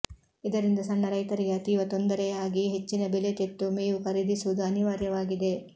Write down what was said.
ಇದರಿಂದ ಸಣ್ಣ ರೈತರಿಗೆ ಅತೀವ ತೊಂದರೆಯಾಗಿ ಹೆಚ್ಚಿನ ಬೆಲೆ ತೆತ್ತು ಮೇವು ಖರೀದಿಸುವುದು ಅನಿವಾರ್ಯವಾಗಿದೆ